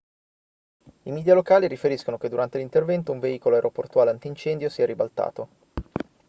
i media locali riferiscono che durante l'intervento un veicolo aeroportuale antincendio si è ribaltato